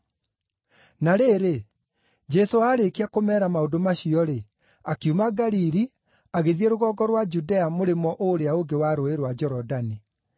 Na rĩrĩ, Jesũ aarĩkia kũmeera maũndũ macio-rĩ, akiuma Galili, agĩthiĩ rũgongo rwa Judea mũrĩmo ũũrĩa ũngĩ wa Rũũĩ rwa Jorodani.